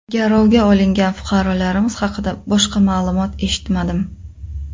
Garovga olingan fuqarolarimiz haqida boshqa ma’lumot eshitmadim.